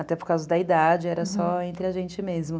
Até por causa da idade, era só entre a gente mesmo.